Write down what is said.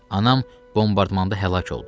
Anam bombardmanda həlak oldu.